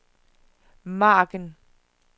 margen